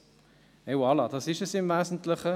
Et voilà, das ist es im Wesentlichen.